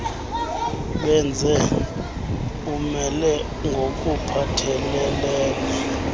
benze umelo ngokuphathelelene